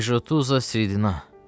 "Rejutuzasridina.